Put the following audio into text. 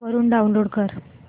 वरून डाऊनलोड कर